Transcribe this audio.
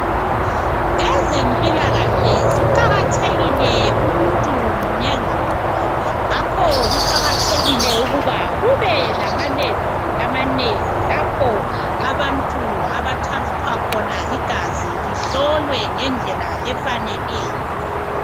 Ezempilakahle ziqakathekile kumuntu munye lamunye ngakho kuqakathekile ukuba kube lama lebhu amanengi lapho abantu abathathwa khona igazi lihlolwe ngendlela efaneleyo.